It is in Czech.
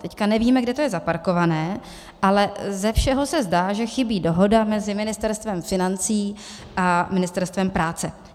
Teď nevíme, kde to je zaparkované, ale ze všeho se zdá, že chybí dohoda mezi Ministerstvem financí a Ministerstvem práce.